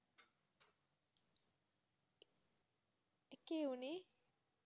কে উনি?